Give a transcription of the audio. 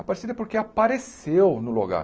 Aparecida porque apareceu no lugar.